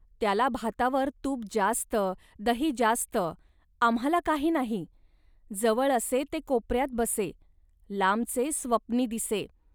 त्याला भातावर तूप जास्त, दही जास्त, आम्हांला काही नाही. जवळ असे ते कोपऱ्यात बसे, लांबचे स्वप्नी दिसे